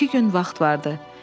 İki gün vaxt vardı.